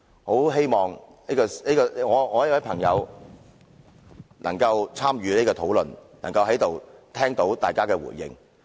我很希望我這位朋友能參與這項討論，能在此聽到大家的回應。